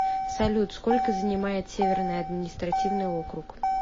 салют сколько занимает северный административный округ